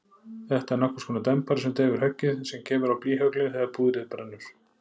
Þetta er nokkurskonar dempari sem deyfir höggið sem kemur á blýhöglin þegar púðrið brennur.